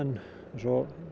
svo